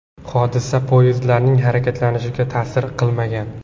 Hodisa poyezdlarning harakatlanishiga ta’sir qilmagan.